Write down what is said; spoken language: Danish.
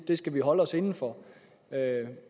vi skal holde os inden for